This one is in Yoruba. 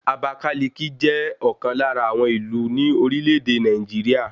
Àbákáliki jẹ́ ọ̀kan lára àwọn ìlú ní orílẹ̀ èdè Nàìjíríà